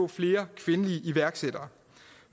flere kvindelige iværksættere